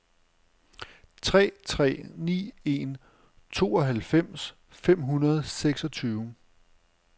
tre tre ni en tooghalvfems fem hundrede og seksogtyve